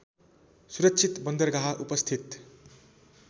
सुरक्षित बन्दरगाह उपस्थित